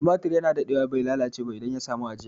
Tumatur ya na daɗewa bai lalace ba idan ya sami ajiya